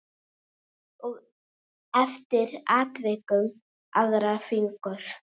Og eftir atvikum aðra fingur.